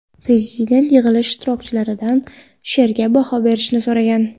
Prezident yig‘ilish ishtirokchilaridan she’rga baho berishni so‘ragan.